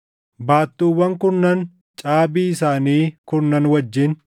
baattuuwwan kurnan, caabii isaanii kurnan wajjin;